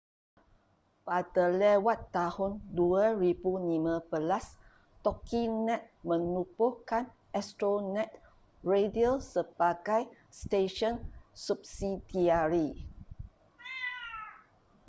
pada lewat tahun 2015 toginet menubuhkan astronet radio sebagai stesen subsidiari